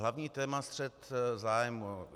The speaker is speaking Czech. Hlavní téma střet zájmů.